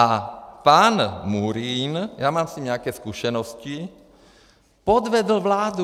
A pan Murín, já mám s ním nějaké zkušenosti, podvedl vládu.